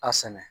A sɛnɛ